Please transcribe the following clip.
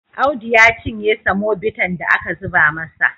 Audu ya cinye semobitan da aka zuba masa.